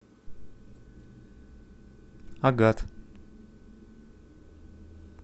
агат